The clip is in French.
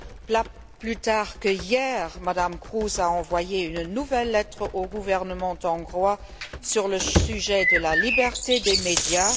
Pas plus tard qu'hier, Mme Kroes a envoyé une nouvelle lettre au gouvernement hongrois sur le thème de la liberté des médias.